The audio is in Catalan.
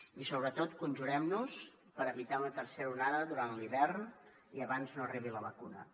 i sobretot conjurem nos per evitar una tercera onada durant l’hivern i abans no arribi la vacuna